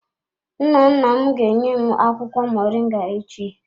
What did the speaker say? Nnanna m ga-enye m akwụkwọ moringa echi.